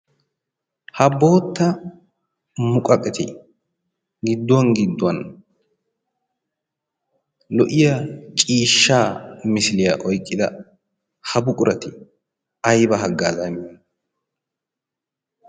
ha bootta muqaqqeti gidduwan gidduwan lo''iya ciishshaa mera oyqqida ha buqurati aybba haggazzaa immiyoona?